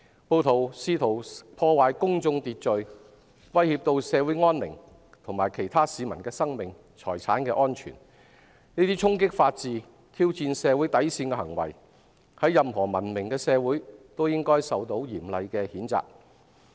暴徒試圖破壞公眾秩序、威脅社會安寧，以及危害其他市民的生命和財產安全，這些衝擊法治，挑戰社會底線的行為，在任何文明社會都應受到嚴厲譴責。